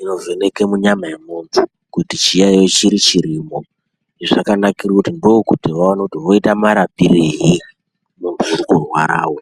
inovheneke munyama yemunthu kuti chiyaiyo chiri chirimo. Zvakanakire kuti ndokuti vaone kuti voite murapirei munthu uri kurwarawo.